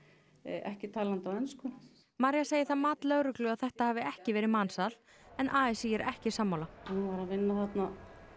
ekki talandi á ensku María segir það mat lögreglu að þetta hafi ekki verið mansal en a s í er ekki sammála hún var að vinna þarna